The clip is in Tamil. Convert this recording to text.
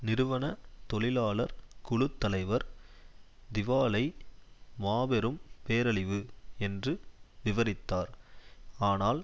நிறுவன தொழிலாளர் குழு தலைவர் திவாலை மாபெரும் பேரழிவு என்று விவரித்தார் ஆனால்